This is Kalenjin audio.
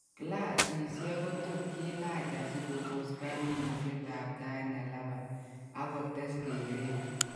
Glasisiek kotot kilaach asikebos kaimutyet ab taiit nelabaa ak kotes kereet